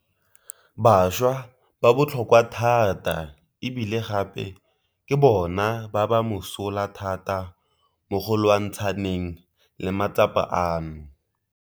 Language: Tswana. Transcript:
Bašwa ba botlhokwa thata e bile gape ke bona ba ba mosola thata mo go lwantshaneng le matsapa ano.